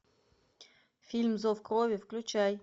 фильм зов крови включай